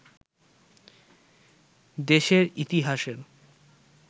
দেশের ইতিহাসের